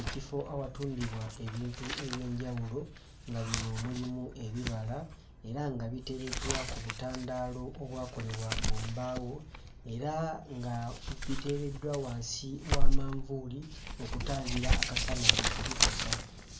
Ekifo awatundibwa ebintu eby'enjawulo nga bino mulimu ebibala era nga biteereddwa ku butandaalo obwakolebwa mu mbaawo era nga buteereddwa wansi wa manvuuli okutangira akasana okubikosa